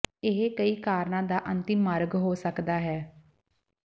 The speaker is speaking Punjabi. ਇਹ ਕਈ ਕਾਰਨਾਂ ਦਾ ਅੰਤਮ ਮਾਰਗ ਹੋ ਸਕਦਾ ਹੈ